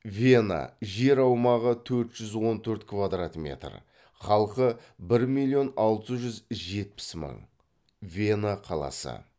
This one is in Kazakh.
вена жер аумағы төрт жүз он төрт квдрат метр халқы бір миллион алты жүз жетпіс мың вена қаласы